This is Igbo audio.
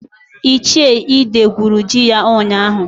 Ichie Ide gwuru ji ya ụnyaahụ.